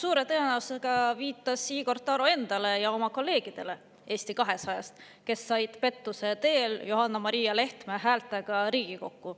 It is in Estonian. " Suure tõenäosusega viitas Igor Taro endale ja oma kolleegidele Eesti 200-st, kes said pettuse teel Johanna-Maria Lehtme häältega Riigikokku.